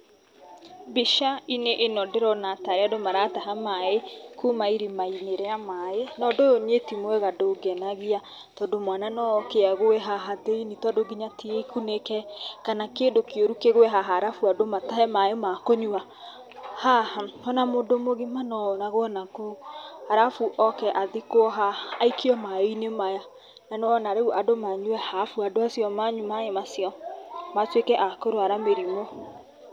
Mbica-inĩ ĩno ndĩrona ta arĩ andũ marataha maaĩ kuma irima-inĩ rĩa maaĩ na ũndũ ũyũ niĩ to mwega, ndũngenagia tondũ mwana no oke agũe haha thĩiniĩ tondũ nginya ti ikunĩke kana kĩndũ kĩũru kĩgũe haha arabu andũ matahe maaĩ ma kũnyua haha.O na mũndũ mũgima no oragwo na kũu arabu oke athikwo haha, aikio maaĩ-inĩ maya na nĩwona rĩu andũ manyue, arabu andũ acio manyua maaĩ macio matuĩke a kũrwara mĩrimũ.